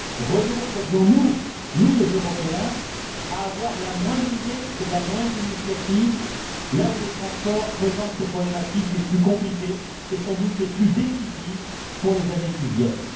Renoncerions nous, nous les Européens, à avoir la moindre idée et la moindre initiative, là où les transports présentent les problématiques les plus compliquées, et sans doute les plus décisives pour les années qui viennent?